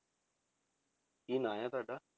ਕੀ ਨਾਂ ਹੈ ਤੁਹਾਡਾ?